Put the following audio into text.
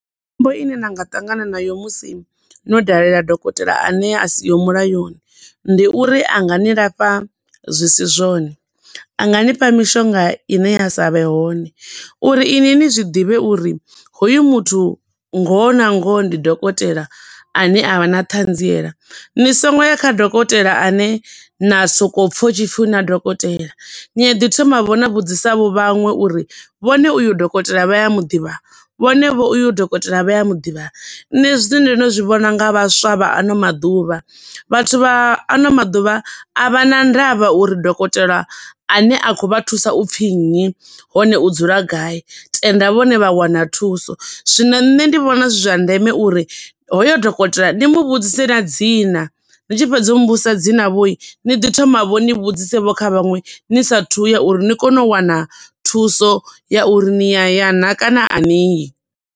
Khombo ine na nga ṱangana nayo musi no dalela dokotela ane a siho mulayoni ndi uri anga ni lafha zwi si zwone, a nga ni fha mishonga ine ya sa vhe hone, uri iṅwi ni zwiḓivhe uri hoyu muthu ngoho na ngoho ndi dokotela ane avha na ṱhanziela, ni songo ya kha dokotela ane na soko pfa hu tshi pfi hu na dokotela, ni a ḓi thomavho na vhudzisa vho vhaṅwe uri vhone uyu dokotela vha ya muḓivha, vhone vho uyu dokotela vha ya muḓivha. Nṋe zwine ndo no zwi vhona nga vhaswa vha ano maḓuvha, vhathu vha ano maḓuvha a vhana ndavha uri dokotela ane a khou vha thusa upfi nnyi, hone u dzula gai, tenda vhone vha wana thuso. Zwino nṋe ndi vhona zwi zwa ndeme uri hoyo dokotela ni mu vhudzise na dzina, ni tshi fhedza u mu vhudzisa dzina vho, ni ḓi thoma vho ni vhudzise vho kha vhaṅwe ni sa thuya uri ni kone u wana thuso ya uri ni ya ya na kana ani yi.